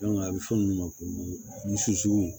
a bɛ fɔ min ma ko